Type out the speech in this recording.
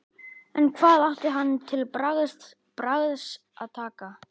En hvað átti hann til bragðs að taka?